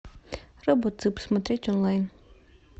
робоцып смотреть онлайн